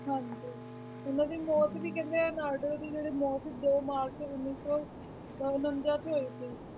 ਹਾਂਜੀ ਉਹਨਾਂ ਦੀ ਮੌਤ ਵੀ ਕਹਿੰਦੇ ਨਾਇਡੂ ਦੀ ਜਿਹੜੀ ਮੌਤ ਦੋ ਮਾਰਚ ਉੱਨੀ ਸੌ ਅਹ ਉਣੰਜਾ 'ਚ ਹੋਈ ਸੀ।